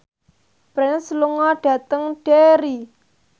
Prince lunga dhateng Derry